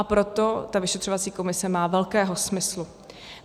A proto ta vyšetřovací komise má velkého smyslu.